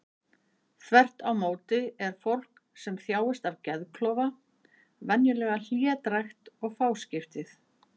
Þvert á móti er fólk sem þjáist af geðklofa venjulega hlédrægt og fáskiptið.